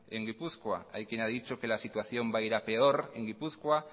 en gipuzkoa hay quien ha dicho que la situación va a ir a peor en gipuzkoa